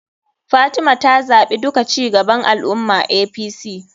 Fatima ta zaɓi duka cigaban al ummah[apc].